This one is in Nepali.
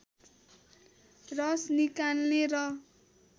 रस निकाल्ने र